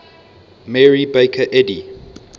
mary baker eddy